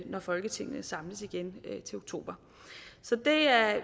når folketinget samles igen til oktober så det er